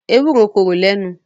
Ewúro korò le nù.